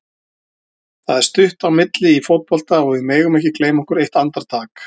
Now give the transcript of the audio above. Það er stutt á milli í fótbolta og við megum ekki gleyma okkur eitt andartak.